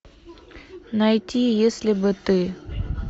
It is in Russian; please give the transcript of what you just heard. найти если бы ты